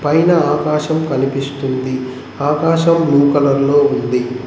పైన ఆకాశం కనిపిస్తుంది ఆకాశం బ్లూ కలర్ లో ఉంది.